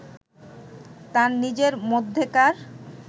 তার নিজের মধ্যেকার